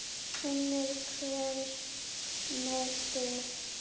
Unir hver með sitt.